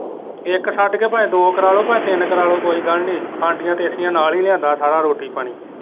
ਇੱਕ ਛੱਡ ਕੇ ਭਾਂਵੇ ਦੋ ਕਰਾਲੋ ਭਾਂਵੇ ਤਿੰਨ ਕਰਾਲੋ ਕੋਈ ਗੱਲ ਕਾਂਠੀਆਂ ਟੇਸੀਆਂ ਨਾਲ ਹੀ ਲਿਆਂਦਾ ਸਾਰਾ ਰੋਟੀ ਪਾਣੀ।